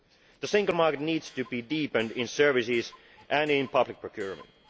The single market needs to be deepened in services and in public procurement.